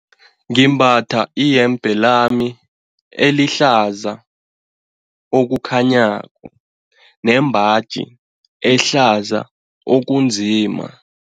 Ngimbatha iyembe lami elihlaza okukhanyako nembaji ehlaza okunzima.